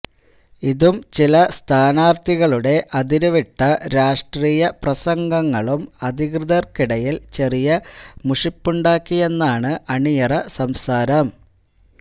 ഇതും ചില സ്ഥാനാര്ഥികളുടെ അതിരുവിട്ട രാഷ്ട്രീയപ്രസംഗങ്ങളും അധികൃതര്ക്കിടയില് ചെറിയ മുഷിപ്പുണ്ടാക്കിയെന്നാണ് അണിയറ സംസാരം